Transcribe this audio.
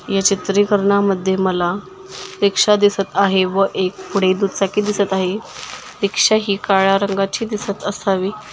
ये चित्रीकरनामध्ये मला रिक्शा दिसत आहे व एक पुढे दुचाकी दिसत आहे रिक्शा ही काळ्या रंगाची दिसत असावी --